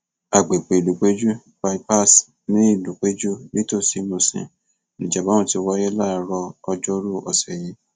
àgbègbè ìlúpẹjù bye pass ní ìlúpẹjù nítòsí musin níjàmbá ọhún ti wáyé láàárọ ọjọoru ọsẹ yìí